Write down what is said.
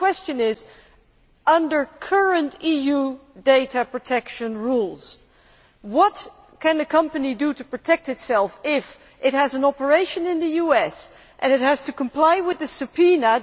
The question is under current EU data protection rules, what can a company do to protect itself if it has an operation in the US and it has to comply with the subpoena?